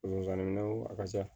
a ka ca